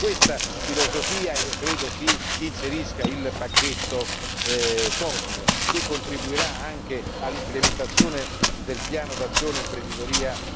È in questa filosofia, io credo, che si inserisca il pacchetto COSME, che contribuirà anche all'implementazione del piano d'azione Imprenditoria